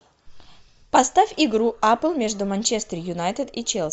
поставь игру апл между манчестер юнайтед и челси